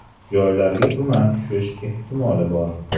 Joylarga tuman tushish ehtimoli bor.